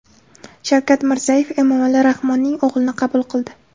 Shavkat Mirziyoyev Emomali Rahmonning o‘g‘lini qabul qildi.